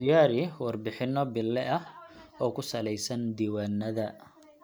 Diyaari warbixinno bille ah oo ku salaysan diiwaannada.